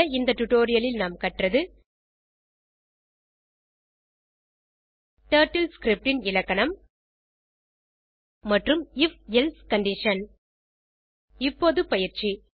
இந்த டுடோரியலில் நாம் கற்றது டர்ட்டில் ஸ்கிரிப்ட் ன் இலக்கணம் மற்றும் if எல்சே கண்டிஷன் இப்போது பயிற்சி